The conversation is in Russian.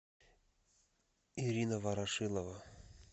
ирина ворошилова